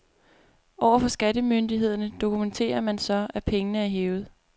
Overfor skattemyndighederne dokumenterer man så, at pengene er hævet.